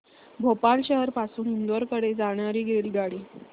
भोपाळ शहर पासून इंदूर कडे जाणारी रेल्वेगाडी